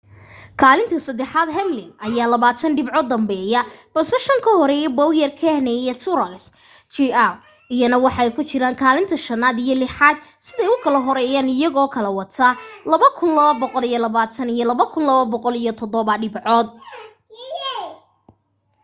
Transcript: kaalinta saddexaad hamlin ayaa labaatan dhibcood danbeeya balse shan ka horeeya bowyer kahne iyo truex jr iyana waxay ku jiraan kaalinta shanaad iyo lixaad siday u kala horeeyaan iyagoo kala wata 2,220 iyo 2,207 dhibcood